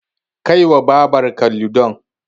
Kai wa Babarka Ludon.